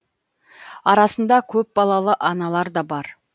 арасында көпбалалы аналар да бар